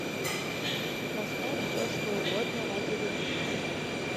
поставь все что угодно ради любви